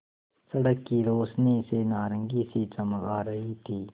सड़क की रोशनी से नारंगी सी चमक आ रही थी